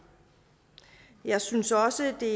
jeg synes også at det